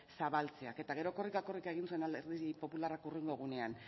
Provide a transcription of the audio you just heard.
zabaltzeak eta gero korrika egin zuen alderdi popularrak hurrengo egunean